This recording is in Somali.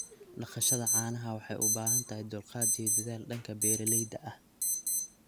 Dhaqashada caanaha waxay u baahan tahay dulqaad iyo dadaal dhanka beeralayda ah.